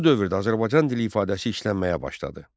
Bu dövrdə Azərbaycan dili ifadəsi işlənməyə başladı.